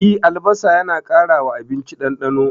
E, albasa yana ƙara wa abinci ɗandano.